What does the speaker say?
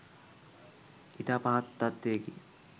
ඉතා පහත් තත්ත්වයකි.